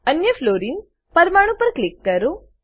અન્ય fluorine fluorine પરમાણુ પર ક્લિક કરો